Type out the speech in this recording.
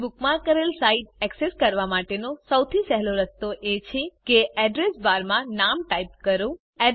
તમે બુકમાર્ક કરેલ site access કરવા માટેનો સૌથી સહેલો રસ્તો એ છે કે એડ્રેસ બાર માં નામ ટાઇપ કરો